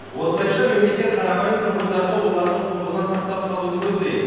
осылайша мемлекет қарапайым тұрғындарды олардың қулығынан сақтап қалуды көздейді